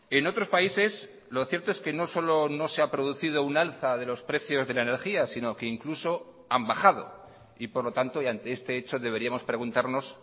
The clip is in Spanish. en otros países lo cierto es que no solo no se ha producido un alza de los precios de la energía sino que incluso han bajado y por lo tanto y ante este hecho deberíamos preguntarnos